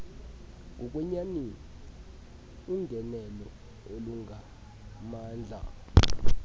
ngokwenyani ungenelo olungamandla